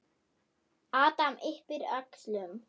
Adam yppir öxlum.